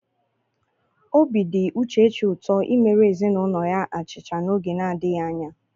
Obi dị Uchechi ụtọ imere ezinụlọ ya achịcha n'oge na-adịghị anya.